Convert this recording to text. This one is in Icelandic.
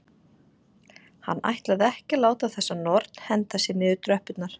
Hann ætlaði ekki að láta þessa norn henda sér niður tröppurnar.